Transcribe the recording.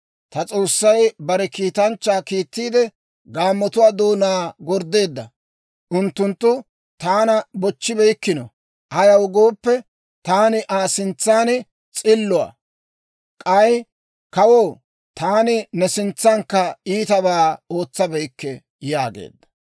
Ta S'oossay bare kiitanchchaa kiittiide, gaammotuwaa doonaa gorddeedda; unttunttu taana bochchibeykkino. Ayaw gooppe, taani Aa sintsan s'illuwaa. K'ay kawoo, taani ne sintsankka iitabaa ootsabeykke» yaageedda.